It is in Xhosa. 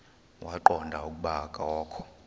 waqonda ukuba akokho